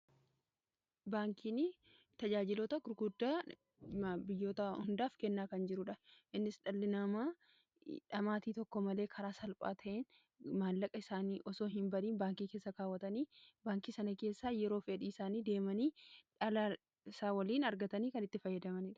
baankiini tajaajilota gurguddaa biyyoota hundaaf kennaa kan jiruudha innis dhallinamaa dhamaatii tokko malee karaa salphaa ta'in maallaqa isaanii osoo hin bariin baankii keessa kaawwatanii baankii sana keessaa yeroo fedhii isaanii deemanii dhalasaa waliin argatanii kan itti fayyadamaniira